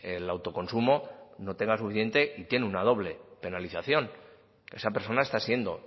el autoconsumo no tenga suficiente y tiene una doble penalización esa persona está siendo